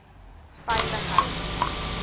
veiligheid